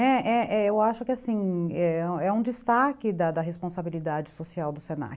É, é, eu acho que é um destaque da responsabilidade social do se na que.